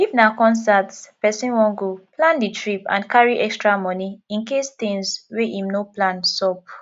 if na concert person wan goplan di trip and carry extra money incase thins wey im no plan sup